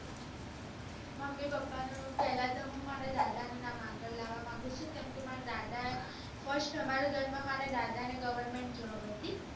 mummy papa પેલા દાદા નું નામ આગળ લેવા માગું છુ કેમકે મારા ઘર માં પેલા દાદા ને fristgovermetnjob હતી